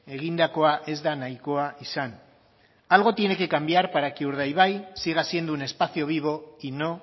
egindakoa ez da nahikoa izan algo tiene que cambiar para que urdaibai siga siendo un espacio vivo y no